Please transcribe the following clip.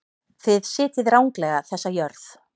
Þið sitjið ranglega þessa jörð.